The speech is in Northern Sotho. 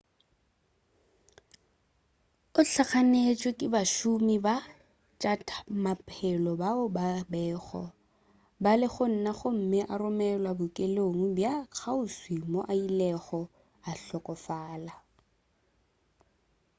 o hlaganetšwe ke bašomi ba tša maphelo bao ba bego ba le gona gomme a romelwa bookelong bja kgauswi moo a ilego a hlokofala